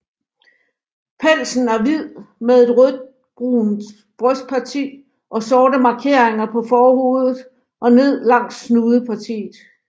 Pelsen er hvid med et rødbrunt brystparti og sorte markeringer på forhovedet og ned langs snudepartiet